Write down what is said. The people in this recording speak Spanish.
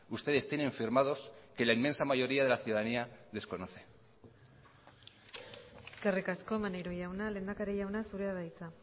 ustedes tienen firmados que la inmensa mayoría de la ciudadanía desconoce eskerrik asko maneiro jauna lehendakari jauna zurea da hitza